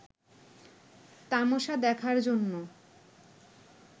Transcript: তামাশা দেখার জন্য